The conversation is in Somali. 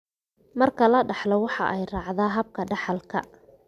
Marka la dhaxlo, waxa ay raacdaa habka dhaxalka ee autosomalka.